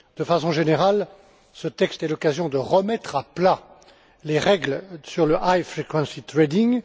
De façon générale, ce texte est l'occasion de remettre à plat les règles sur le high frequency trading